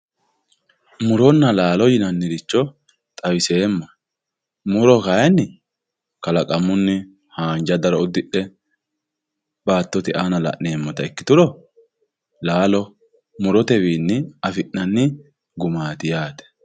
muronna laalo yinanniricho xawiseemmohe muro kayiinni kalaqamunni haanja daro uddidhe baattote aana la'neemmota ikkituro laalo murote wiinni afi'nanni gumaati yaate